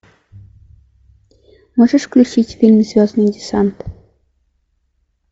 можешь включить фильм звездный десант